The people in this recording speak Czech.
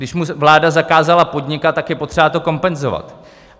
Když mu vláda zakázala podnikat, tak je potřeba to kompenzovat.